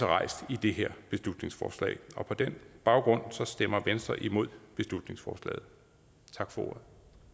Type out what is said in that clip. rejst i det her beslutningsforslag på den baggrund stemmer venstre imod beslutningsforslaget tak for ordet